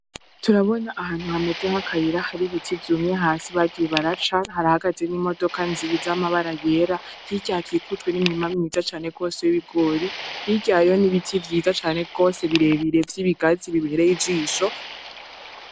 Turabona ahantu hameze nk'akayira hari ibiti vyumye hasi bagiye baraca, harahagaze n'imodoka nziza y'amabara yera, hirya hakikujwe n'imirima myiza cane rwose w'ibigori, hirya hariyo n'ibiti vyiza cane rwose birebire vy'ibigazi bibireye ijisho.